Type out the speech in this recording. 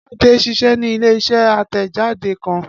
Ade ṣiṣẹ ni ile-iṣẹ atẹjade kan